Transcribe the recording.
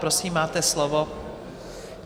Prosím, máte slovo.